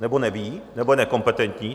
Nebo neví, nebo je nekompetentní?